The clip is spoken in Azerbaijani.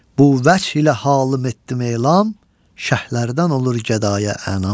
Bu vəclə halım etdim elan, şəhrlərdən olur gədayə anam.